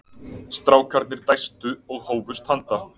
Strákarnir dæstu og hófust handa.